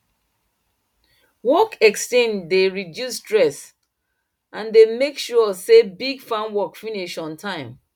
work exchange dey reduce stress and dey make sure say big farm work finish on time